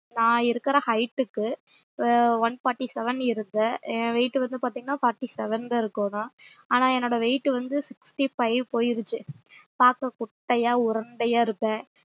நா இருக்குற height க்கு one forty seven இருந்தன் என் weight வந்து பாத்திங்கனா forty seven ல இருந்தன் ஆனா என்னோட weight வந்து sixty five போயிருச்சு பாக்க குட்டையா உருண்டையா இருப்பேன்